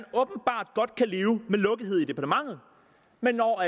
det er leve med lukkethed i departementet men når